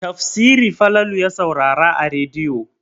Tafsiri Falalu ya saurara a rediyo.